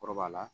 Kɔrɔbaya la